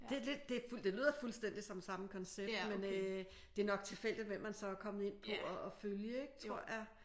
Det lyder fuldstændig som samme koncept men øh det er nok tilfældigt hvem man så er kommet ind på og følge ik? Tror jeg